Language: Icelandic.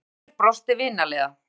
Hlynur brosti vinalega.